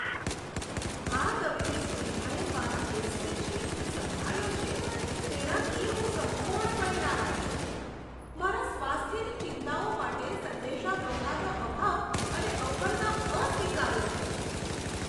આ તબીબી સુવિધાએ મારા કેસને જે રીતે સંભાળ્યો છે તેનાથી હું સંપૂર્ણપણે નારાજ છું. મારા સ્વાસ્થ્યની ચિંતાઓ માટે સંદેશાવ્યવહારનો અભાવ અને અવગણના અસ્વીકાર્ય છે.